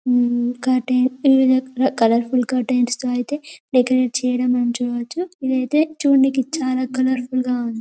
మ్మ్ colourful curtains తో ఐతే decorate చెయ్యటం మనం చూడొచ్చు. ఇదైతే చుంనికి చాలా కాలౌర్ఫుల్ గ ఉంది.